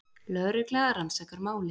Lögregla rannsakar málið